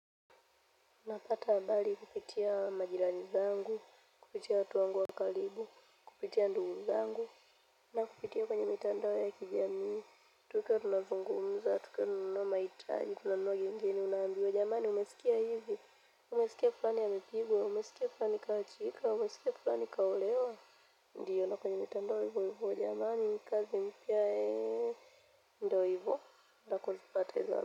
Napata habari kupitia majirani zangu kupitia watu wangu wa karibu kupitia ndugu zangu na kupitia kwenye mitandao ya kijamii, tukiwa tunazungumza, tukiwa tununu mahitaji, tunanunua gengeni, unambiwa jamani, umesikia hivi. Umesikia fulani amepigwa, umesikia fulani kaachika, umesikia fulani kaolewa ndio na kwenye mitandao hivyo hivyo jamani kazi mpya ndio hivyo nakozipata hizo habari.